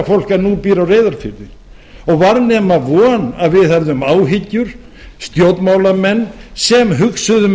fólk en nú býr á reyðarfirði og var nema von að við hefðum áhyggjur stjórnmálamenn sem hugsuðum